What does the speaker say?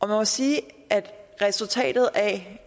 må sige at resultatet af